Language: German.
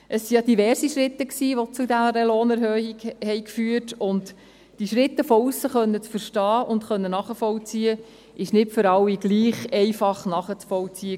Es waren ja diverse Schritte, die zu dieser Lohnerhöhung führten, und diese Schritte von aussen verstehen und nachvollziehen zu können, war nicht für alle gleich einfach nachvollziehbar.